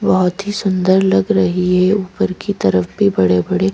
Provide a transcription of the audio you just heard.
बहुत ही सुंदर लग रही है ऊपर की तरफ भी बड़े-बड़े --